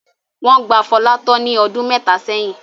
Wọ́n gba Fọlá tọ́ ní ọdún mẹ́ta sẹ́yìn.